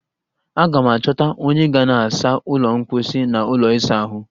Aga m achọta onye ga na-asa ụlọ mkposhi na ụlọ ịsa ahụ